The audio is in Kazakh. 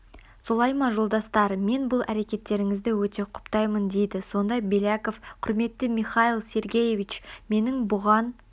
солай ма жолдастар мен бұл әрекеттеріңізді өте құптаймын дейді сонда беляков құрметті михаил сергеевич менің бұған